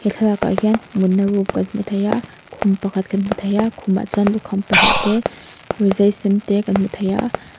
thlalakah hian mut na room kan hmu thei a khum pakhat kan hmu thei a khumah chuan lukham pahnih te rizai sen te kan hmu thei a.